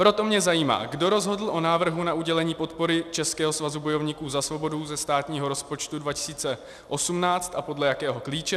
Proto mě zajímá, kdo rozhodl o návrhu na udělení podpory Českého svazu bojovníků za svobodu ze státního rozpočtu 2018 a podle jakého klíče.